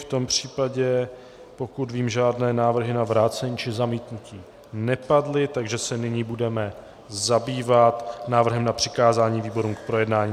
V tom případě, pokud vím, žádné návrhy na vrácení či zamítnutí nepadly, takže se nyní budeme zabývat návrhem na přikázání výborům k projednání.